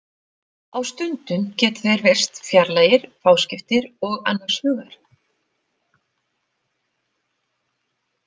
Á stundum geta þeir virst fjarlægir, fáskiptir og annars hugar.